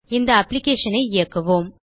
இந்த applicationஐ இயக்குவோம்